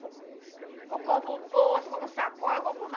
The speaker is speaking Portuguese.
Eu compro bolsa, eu compro sacola, eu compro mala.